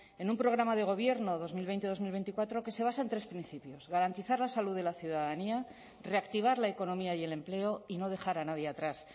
en un programa de gobierno dos mil veinte dos mil veinticuatro que se basa en tres principios garantizar la salud de la ciudadanía reactivar la economía y el empleo y no dejar a nadie atrás